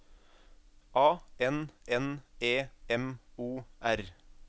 A N N E M O R